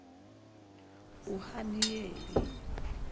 uhaniyeli